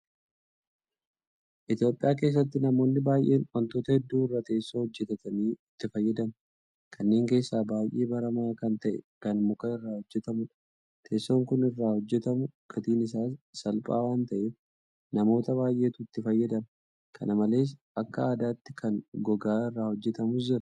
Itoophiyaa keessatti namoonni baay'een waantota hedduu irraa teessoo hojjetatanii itti fayyadamu. Kanneen keessaa baay'ee baramaa kan ta'e kan muka irraa hojjetamudha. Teessoon muka irraa hojjetamu gatiin isaas salphaa waanta ta'eef namoota baay'eetu itti fayyadama. Kana malees akka aadaatti kan gogaa irraa hojjetamus jira.